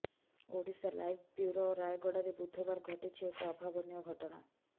Odisha live bureau ରାୟଗଡ଼ାରେ ବୁଧବାର ଘଟିଛି ଏକ ଅଭାବନୀୟ ଘଟଣା